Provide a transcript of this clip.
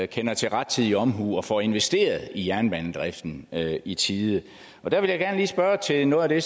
kender til rettidig omhu og får investeret i jernbanedriften i tide der vil jeg gerne lige spørge til noget af det